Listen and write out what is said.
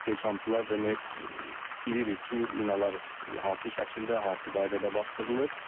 biz istehkamçılar demək bilirik ki, minalar hansı şəkildə, hansı qaydada basdırılır.